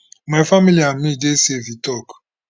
my family and me dey safe e tok